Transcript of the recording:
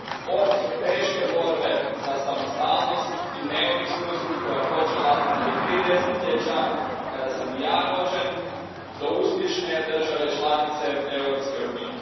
Od teške borbe za samostalnost i neovisnost koja je počela prije tri desetljeća, kada sam i ja rođen, do uspješne države članice Europske unije.